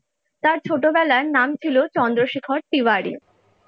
তার ছোটবেলায় নাম ছিল চন্দ্রশেখর তিওয়ারি ।